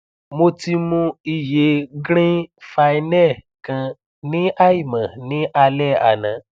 mo ti mu iye green phynel kan ní àìmọ ní alẹ àná